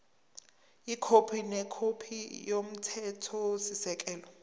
ikhophi nekhophi yomthethosisekelo